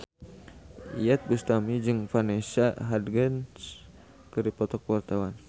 Iyeth Bustami jeung Vanessa Hudgens keur dipoto ku wartawan